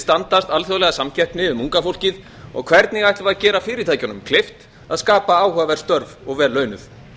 standa alþjóðlega samkeppni um unga fólkið og hvernig ætlum við að gera fyrirtækjunum kleift að skapa áhugaverð störf og vel launuð